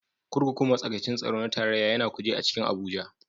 Kurkukun matsakaicin tsaro na tarayya ya na Kuje a cikin Abuja.